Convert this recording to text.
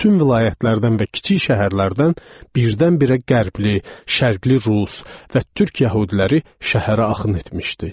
Bütün vilayətlərdən və kiçik şəhərlərdən birdən-birə qərbli, şərqli rus və türk yəhudiləri şəhərə axın etmişdi.